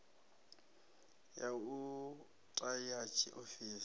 ya u ta ya tshiofisi